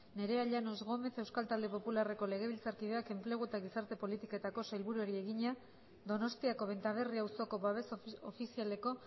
nerea llanos gómez euskal talde popularreko legebiltzarkideak enplegu eta gizarte politiketako sailburuari egina donostiako benta berri auzoko babes ofizialeko